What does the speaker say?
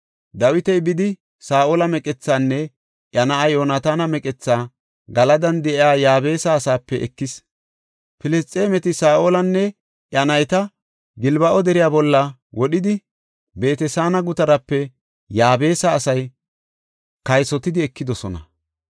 Dawiti bidi, Saa7ola meqethaanne iya na7aa Yoonataana meqethaa Galadan de7iya Yaabesa asaape ekis. Filisxeemeti Saa7olanne iya nayta Gilbo7a deriya bolla wodhidi, Beet-Saana gutarape Yaabesa asay kaysotidi ekidosona.